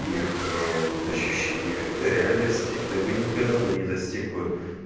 их ощущению реальности ты бы никогда бы не достиг бы